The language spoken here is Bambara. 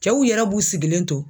Kɛw yɛrɛ b'u sigilen to